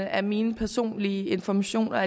er mine personlige informationer